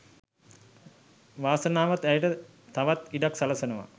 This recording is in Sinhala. වාසනාවත් ඇයට තවත් ඉඩක් සලසනවා.